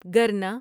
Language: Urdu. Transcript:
گرنا